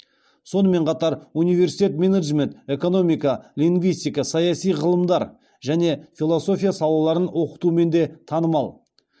сонымен қатар университет менеджмент экономика лингвистика саяси ғылымдар және философия салаларын оқытуымен де танымал